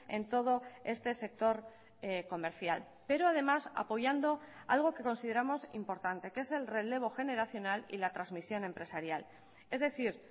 en todo este sector comercial pero además apoyando algo que consideramos importante que es el relevo generacional y la transmisión empresarial es decir